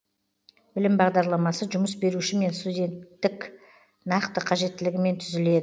білім бағдарламасы жұмыс беруші мен студенттік нақты қажеттілігімен түзіледі